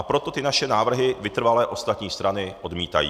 A proto ty naše návrhy vytrvale ostatní strany odmítají.